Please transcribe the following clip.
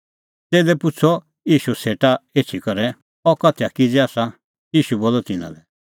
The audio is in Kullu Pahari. च़ेल्लै पुछ़अ ईशू सेटा एछी करै अह उदाहरण कै आसा ईशू बोलअ तिन्नां लै